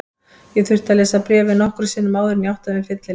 Ég þurfti að lesa bréfið nokkrum sinnum áður en ég áttaði mig fyllilega.